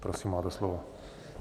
Prosím, máte slovo.